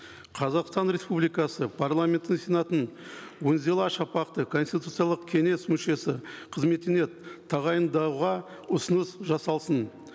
қазақстан республикасы парламенті сенатын үнзила шапақты конституциялық кеңес мүшесі қызметіне тағайындауға ұсыныс жасалсын